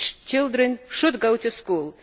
Children should go to school.